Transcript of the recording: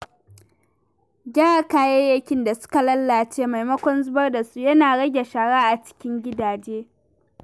Gyara kayayyakin da suka lalace maimakon zubar da su yana rage shara a cikin gidaje.